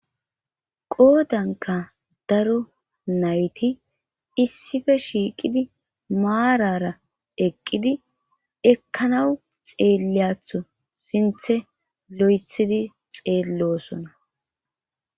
qoodanka daro nayti issife shiiqidi maarara eqqidi ekkanawu xeelleyatho sinthe lo7ethidi xeellosona